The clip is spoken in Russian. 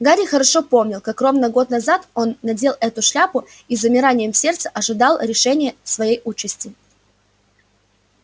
гарри хорошо помнил как ровно год назад он надел эту шляпу и с замиранием сердца ожидал решения своей участи